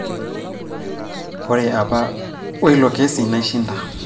ore apa oilo kesi naishinda